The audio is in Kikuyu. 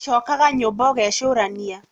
Cokaga nyũmba ũgecũrania